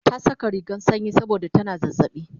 ta Saka rigan sanyi saboda tana zazzaɓi